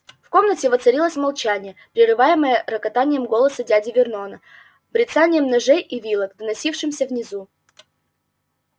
в комнате воцарилось молчание прерываемое рокотанием голоса дяди вернона бряцанием ножей и вилок доносившимся снизу